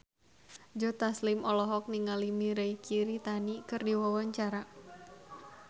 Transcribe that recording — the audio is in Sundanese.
Joe Taslim olohok ningali Mirei Kiritani keur diwawancara